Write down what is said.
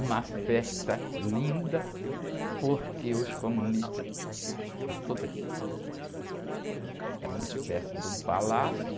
Uma festa linda, porque os comunistas... Era uma espécie de um palácio.